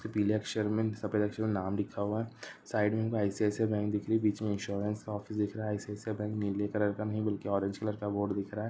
उसपे पीले अक्षर में सफ़ेद अक्षर में नाम लिखा हुआ हे साइड में आय_सी_आय_सी_आय बैंक दिखाई दे रही हे बिच में इन्शुरन्स ऑफिस दिख रहा हे आय_सी_आय_सी_आय बैंक नीले कलर का नही बल्कि ऑरेंज कलर का बोर्ड दिख रहा हे |